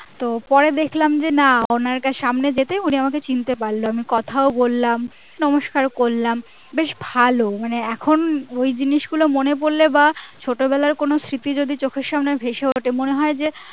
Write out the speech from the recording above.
তো পরে দেখলাম যে না অনেক সামনে দেখে উনি আমাকে চিনতে পড়লো কোথাও বললাম নমস্কার করলাম বেশ ভালো মানে এখন ওই জিনিসগুলো মনে পড়লে বা ছোটবেলার কোনো স্মৃতি যদি চোখের সামনে ভেসে উঠে মনে হয় যে